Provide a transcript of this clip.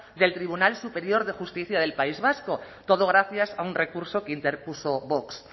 del tribunal superior de justicia del país vasco todo gracias a un recurso que interpuso vox